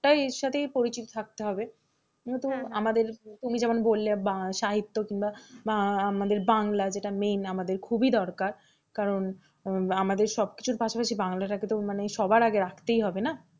এর সাথেই পরিচিত থাকতে হবে, আমাদের তুমি যেমন বললে সাহিত্য কিংবা আমাদের বাংলা যেটা main আমাদের খুবই দরকার কারণ আমাদের সবকিছুর পাশাপাশি বাংলাটাকে তো মানে সবার আগে রাখতেই হবে না?